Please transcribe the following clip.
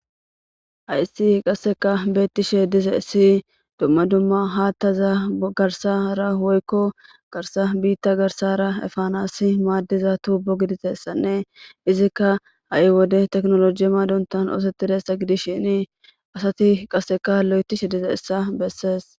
hayssi qasseka beettishe diza issi dumma dumma haattaza garsara woykko garsa biitta garsara efanasi maaddiza tuubo giditessanne izikka ha7i wode teknoloji maadontan oosettiressa gidis shini asati qasseka lo7etishe dize issa bessees